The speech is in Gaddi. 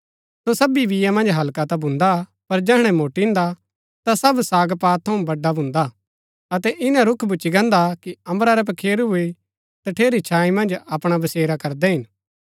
सो सबी बीआ मन्ज हल्का ता भून्दा पर जैहणै मोट्टिन्दा ता सब सागपात थऊँ बड़ा भून्दा अतै इन्‍ना रूख भूच्ची गान्दा कि अम्बरा रै पखेरू भी तठेरी छाई मन्ज अपणा बसेरा करदै हिन